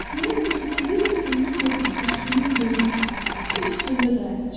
Mənim ulduzum bir il bundan qabaq düşdüyüm yerin düz üstündə dayanacaqdır.